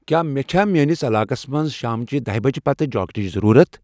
کیا مے چھا میٲنِس علاقس منز شامچِہ دَہِہ بج پتہٕ جاکٹٕچ ضرورت ؟